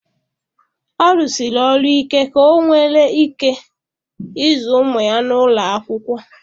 Ọ rụsịrị ọrụ ike ka onwere ike ịzụ ụmụ ya n'ụlọ akwụkwọ.